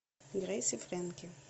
грейс и фрэнки